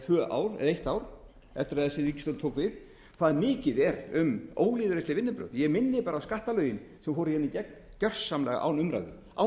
eða eitt ár eftir að þessi ríkisstjórn tók við hvað mikið er um ólýðræðisleg vinnubrögð ég minni bara á skattalögin sem fóru hér í gegn gjörsamlega án umræðu án